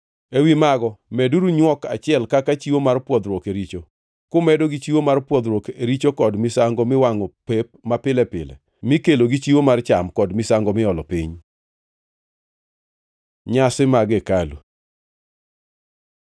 Ewi mago meduru nywok achiel kaka chiwo mar pwodhruok e richo, kumedo gi chiwo mar pwodhruok e richo kod misango miwangʼo pep mapile pile mikelo gi chiwo mar cham, kod misango miolo piny. Nyasi mag hekalu